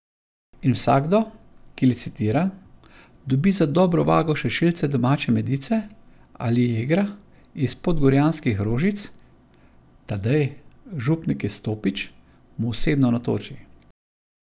In vsakdo, ki licitira, dobi za dobro vago še šilce domače medice ali jegra iz podgorjanskih rožic, Tadej, župnik iz Stopič, mu osebno natoči.